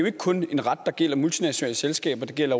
ikke kun en ret der gælder multinationale selskaber det gælder